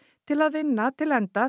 til að vinna til enda